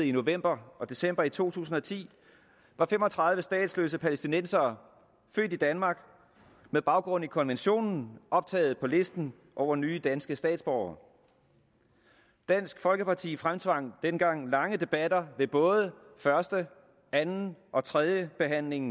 i november og december to tusind og ti var fem og tredive statsløse palæstinensere født i danmark med baggrund i konventionen optaget på listen over nye danske statsborgere dansk folkeparti fremtvang dengang lange debatter ved både første anden og tredje behandling